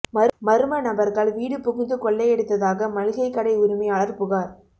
மா்ம நபா்கள் வீடு புகுந்து கொள்ளையடித்ததாக மளிகைக் கடை உரிமையாளா் புகாா்